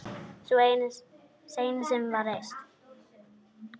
Sú seinni var reist